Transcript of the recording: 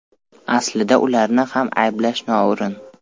Aslida ularni ham ayblash noo‘rin.